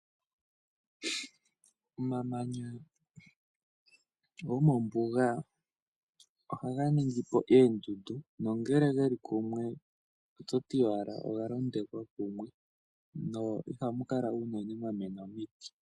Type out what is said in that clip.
Omamanya gomombuga ohaga ningipo oondundu nongele ge li kumwe oto ti owala oga londweka kumwe no iha mu kala unene mwa mena omiti.